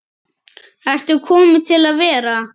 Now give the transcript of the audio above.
Ertu komin til að vera?